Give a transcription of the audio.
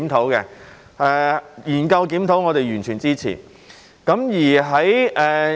對於研究和檢討，我們是完全支持的。